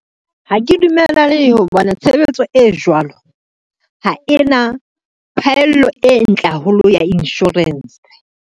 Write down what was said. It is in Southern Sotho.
Ha ke dumellane tshebetso e jwalo, ha e na phahello e ntle haholo ya insurance.